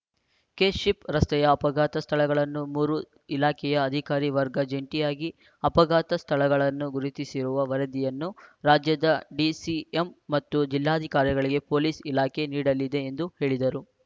KSHIP ರಸ್ತೆಯ ಅಪಘಾತ ಸ್ಥಳಗಳನ್ನು ಮೂರು ಇಲಾಖೆಯ ಅಧಿಕಾರಿ ವರ್ಗ ಜಂಟಿಯಾಗಿ ಅಪಘಾತ ಸ್ಥಳಗಳನ್ನು ಗುರುತಿಸಿರುವ ವರದಿಯನ್ನು ರಾಜ್ಯದ ಡಿಸಿಎಂ ಮತ್ತು ಜಿಲ್ಲಾಧಿಕಾರಿಗಳಿಗೆ ಪೊಲೀಸ್ ಇಲಾಖೆ ನೀಡಲಿದೆ ಎಂದು ಹೇಳಿದರು